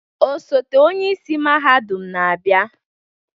Osote-onye isi mahadum na-abịa.